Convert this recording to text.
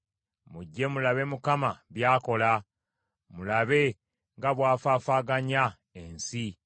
Mujje, mulabe Mukama by’akola, mulabe nga bw’afaafaaganya ensi.